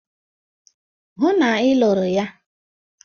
Hụ na ị lụrụ ya!